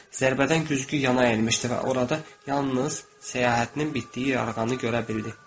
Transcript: Zərbədən güzgü yana əyilmişdi və orada yalnız səyahətinin bitdiyi yarğanı görə bildi.